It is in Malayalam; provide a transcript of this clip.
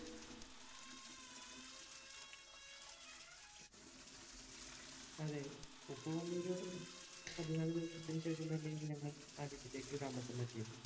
അതെ ഉപ്പ വന്നൊരു പതിനാല് ദിവസത്തിനു ശേഷം തന്നെയാണ് ഞങ്ങൾ ആ വീട്ടിലേക്ക് താമസം മാറ്റിയത്.